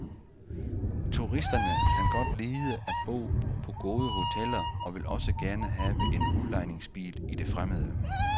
Turisterne kan godt lide at bo på gode hoteller og vil også gerne have en udlejningsbil i det fremmede.